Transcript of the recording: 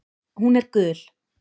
Hún er gul.